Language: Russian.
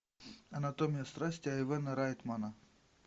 анатомия страсти айвена райтмана